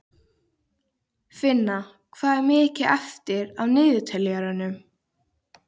Finna, hvað er mikið eftir af niðurteljaranum?